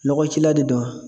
Lɔgɔ ci la de don.